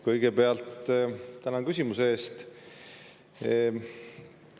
Kõigepealt tänan küsimuse eest.